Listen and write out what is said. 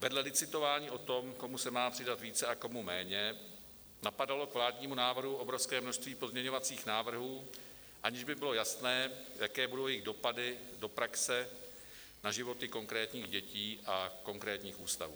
Vedle licitování o tom, komu se má přidat více a komu méně, napadalo k vládnímu návrhu obrovské množství pozměňovacích návrhů, aniž by bylo jasné, jaké budou jejich dopady do praxe, na životy konkrétních dětí a konkrétních ústavů.